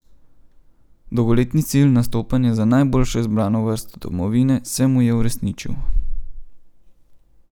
Dolgoletni cilj, nastopanje za najboljšo izbrano vrsto domovine, se mu je uresničil.